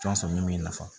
Tɔn sɔrɔ min b'i nafa